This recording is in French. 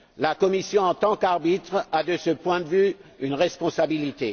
La Commission, en tant qu'arbitre, a, de ce point de vue, une responsabilité.